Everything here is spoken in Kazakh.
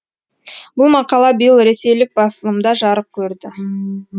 бұл мақала биыл ресейлік басылымда жарық көрді